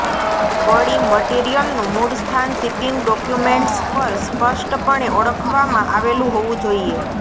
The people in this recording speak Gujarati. વળી મટિરિયલનું મૂળસ્થાન શિપિંગ ડોક્યુમેન્ટ્સ પર સ્પષ્ટપણે ઓળખાવવામાં આવેલું હોવું જોઈએ